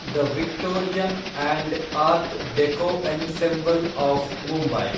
the Victorian and art deco ensemble of Mumbai